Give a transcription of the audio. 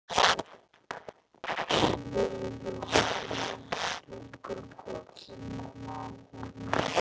Mig langar að strjúka kollinum á honum.